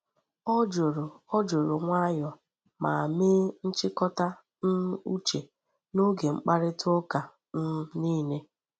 Ọ juru Ọ juru nwayọọ ma mee nchịkọta um uche n’oge mkparịta ụka um niile.